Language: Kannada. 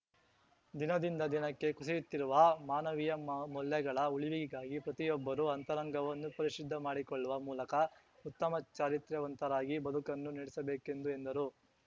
ದಿನದಿಂದ ದಿನಕ್ಕೆ ಕುಸಿಯುತ್ತಿರುವ ಮಾನವೀಯ ಮ ಮೌಲ್ಯಗಳ ಉಳಿವಿಗಾಗಿ ಪ್ರತಿಯೊಬ್ಬರೂ ಅಂತರಂಗವನ್ನು ಪರಿಶುದ್ಧ ಮಾಡಿಕೊಳ್ಳುವ ಮೂಲಕ ಉತ್ತಮ ಚಾರಿತ್ರ್ಯವಂತರಾಗಿ ಬದುಕನ್ನು ನೆಡೆಸಬೇಕೆಂದು ಎಂದರು